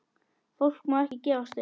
Fólk má ekki gefast upp.